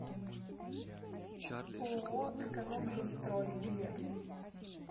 ооо экономжилстрой билет